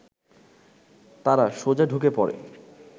তারা সোজা ঢুকে পড়ে